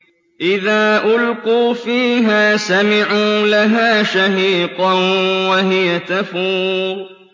إِذَا أُلْقُوا فِيهَا سَمِعُوا لَهَا شَهِيقًا وَهِيَ تَفُورُ